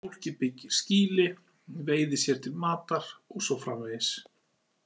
Fólkið byggir skýli, veiðir sér til matar og svo framvegis.